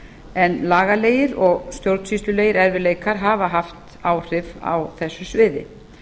en lagalegir og stjórnsýslulegir erfiðleikar hafa haft áhrif á þessu sviði